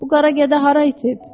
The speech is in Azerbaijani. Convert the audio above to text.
Bu qara gədə hara itib?